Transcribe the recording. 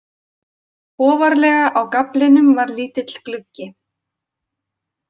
Ofarlega á gaflinum var lítill gluggi.